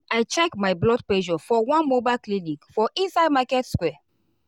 check my blood pressure for one mobile clinic for inside market square.